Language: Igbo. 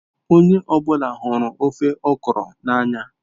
Onye ọ bụla hụrụ ofe okra n'anya.